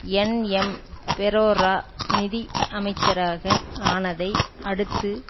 nm Perera நிதி அமைச்சராக ஆனதை அடுத்து